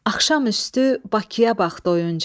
Axşam üstü Bakıya bax doyunca.